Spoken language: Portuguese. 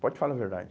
Pode falar a verdade.